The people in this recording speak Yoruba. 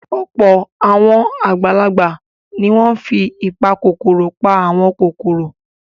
Ọ̀pọ̀ àwọn àgbàlagbà ni wọ́n ti fi ìpakòkòrò pa àwọn kòkòrò.